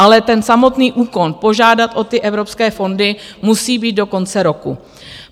Ale ten samotný úkon požádat o ty evropské fondy musí být do konce roku.